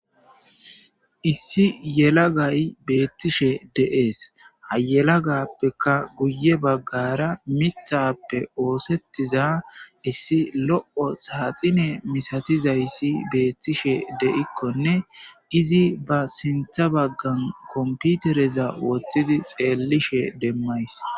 Issi yelaggayi bettishe de'esi ha yelaggappeka guye baggara miththappe oththetiza issi lo'o saxxine misatizayis bettishe de'ikonne izi ba sinththa baggara comppitereza wothidi xellishe demmaysi.